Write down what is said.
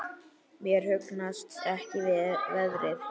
Mér hugnast ekki veðrið.